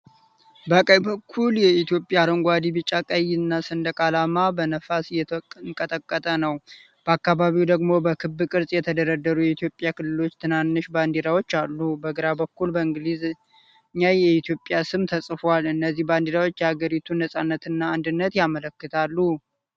በቀኝ በኩል የኢትዮጵያ አረንጓዴ፣ ቢጫና ቀይ ሰንደቅ ዓላማ በነፋስ እየተንቀጠቀጠ ነው። በአካባቢው ደግሞ በክብ ቅርጽ የተደረደሩ የኢትዮጵያ ክልሎች ትናንሽ ባንዲራዎች አሉ። በግራ በኩል በእንግሊዘኛ የኢትዮጵያ ስም ተጽፏል፡፡ እነዚህ ባንዲራዎች የአገሪቷን ነፃነትና አንድነት ያመለክታሉ።